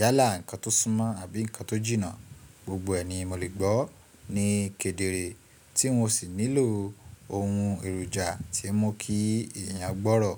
Yálà, ǹnkan tó súnmọ́ àbí nǹkan tó jìnnà, gbogbo ẹ̀ ni mo lè gbọ́ ní kedere tí mo ò sì nílò ohun èròjà tí ń mú kí èèyàn gbọ́rọ̀